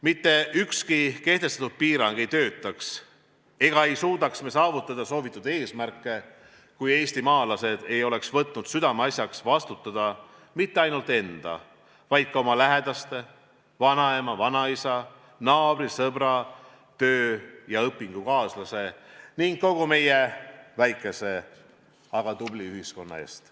Mitte ükski kehtestatud piirang ei töötaks ja me ei suudaks saavutada soovitud eesmärke, kui eestimaalased ei oleks võtnud südameasjaks vastutada mitte ainult enda, vaid ka oma lähedaste – vanaema-vanaisa, naabri, sõbra, töö- ja õpingukaaslase – ning kogu meie väikese, aga tubli ühiskonna eest.